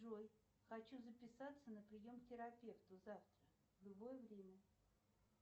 джой хочу записаться на прием к терапевту завтра в любое время